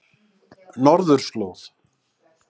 Norðurslóð